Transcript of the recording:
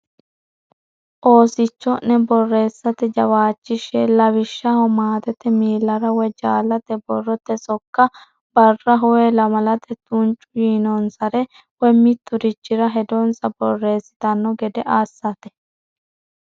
Oosicho ne borreessate jawaachishshe lawishshaho maatete miillara woy jaallate borrote sokka barraho woy lamalate tuncu yiinonsare woy mitturichire hedonsa borreessitanno gede assate.